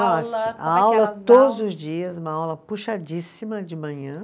Nossa, a aula todos os dias, uma aula puxadíssima de manhã.